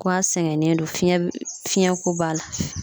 Ko a sɛgɛnnen don fiyɛn be fiyɛnko b'a la